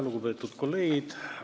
Lugupeetud kolleegid!